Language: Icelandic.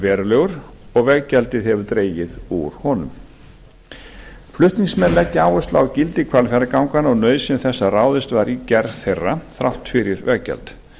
verulegur og veggjaldið hefur dregið úr honum flutningsmenn leggja áherslu á gildi hvalfjarðarganganna og nauðsyn þess að ráðist var í gerð þeirra þrátt fyrir veggjald